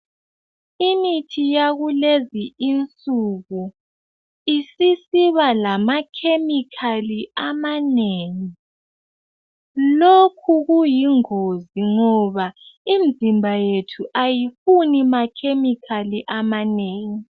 Imithi yakulezi insuku isisiba lamakhemikhali amanengi lokhu kuyingozi ngoba imizimba yethu ayifuni makhemikhali amanengi.